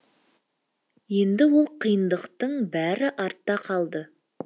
енді ол қиындықтын бәрі артта қалды